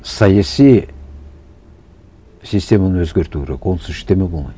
саяси системаны өзгерту керек онсыз ештеңе болмайды